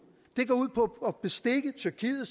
den går ud på at bestikke tyrkiet